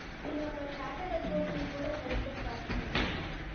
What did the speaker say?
நீங்க அப்ப charted account கூட படிக்க start பண்ணலாமே